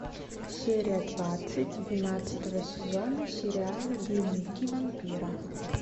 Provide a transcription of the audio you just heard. серия двадцать двенадцатого сезона сериала дневники вампира